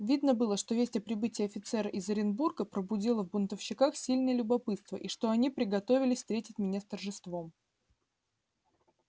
видно было что весть о прибытии офицера из оренбурга пробудила в бунтовщиках сильное любопытство и что они приготовились встретить меня с торжеством